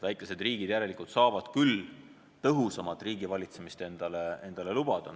Väikesed riigid järelikult saavad küll endale tõhusamat riigivalitsemist lubada.